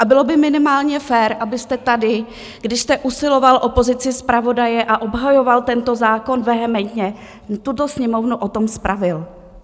A bylo by minimálně fér, abyste tady, když jste usiloval o pozici zpravodaje a obhajoval tento zákon vehementně, tuto Sněmovnu o tom spravil.